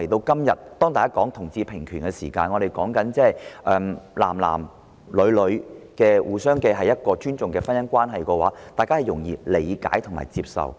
今天討論同志平權時，對於同性之間締結互相尊重的婚姻關係，大家可能會較容易理解和接受。